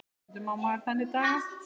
Stundum á maður þannig daga.